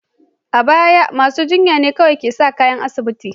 A baya, masu jinya kawai ke sa kayan asibiti.